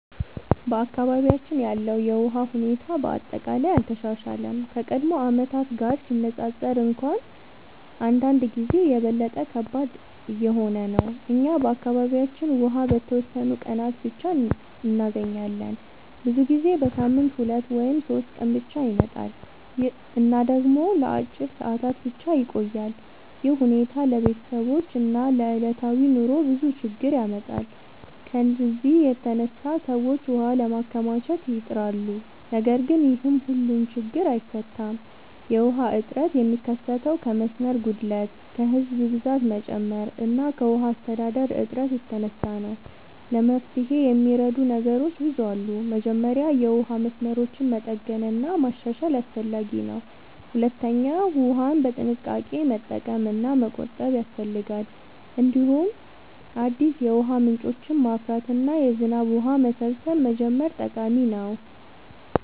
በአካባቢያችን ያለው የውሃ ሁኔታ በአጠቃላይ አልተሻሻለም፤ ከቀድሞ ዓመታት ጋር ሲነፃፀር እንኳን አንዳንድ ጊዜ የበለጠ ከባድ እየሆነ ነው። እኛ በአካባቢያችን ውሃ በተወሰኑ ቀናት ብቻ እንገኛለን፤ ብዙ ጊዜ በሳምንት 2 ወይም 3 ቀን ብቻ ይመጣል እና ደግሞ ለአጭር ሰዓታት ብቻ ይቆያል። ይህ ሁኔታ ለቤተሰቦች እና ለዕለታዊ ኑሮ ብዙ ችግኝ ያመጣል። ከዚህ የተነሳ ሰዎች ውሃ ለማከማቸት ይጥራሉ፣ ነገር ግን ይህም ሁሉን ችግኝ አይፈታም። የውሃ እጥረት የሚከሰተው ከመስመር ጉድለት፣ ከህዝብ ብዛት መጨመር እና ከውሃ አስተዳደር እጥረት የተነሳ ነው። ለመፍትሄ የሚረዱ ነገሮች ብዙ አሉ። መጀመሪያ የውሃ መስመሮችን መጠገን እና ማሻሻል አስፈላጊ ነው። ሁለተኛ ውሃን በጥንቃቄ መጠቀም እና መቆጠብ ያስፈልጋል። እንዲሁም አዲስ የውሃ ምንጮችን ማፍራት እና የዝናብ ውሃ መሰብሰብ መጀመር ጠቃሚ ነው።